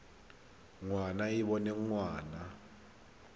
ngwana e e boneng ngwana